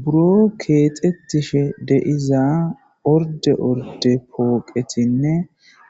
Buro keexetishe deiza orde orde pooqetinne